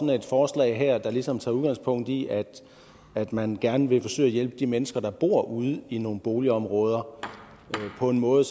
et forslag her der ligesom tager udgangspunkt i at at man gerne vil forsøge at hjælpe de mennesker der bor ude i nogle boligområder på en måde